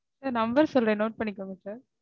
sir number சொல்றேன் note பண்ணிக்கோங்க sir